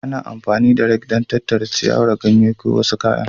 Ana amfani da rake don tattara ciyawa, ganye ko wasu kayan